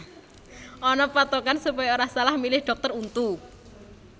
Ana pathokan supaya ora salah milih dhokter untu